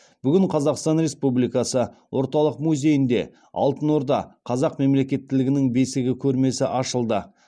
бүгін қазақстан республикасы орталық музейінде алтын орда қазақ мемлекеттілігінің бесігі көрмесі ашылды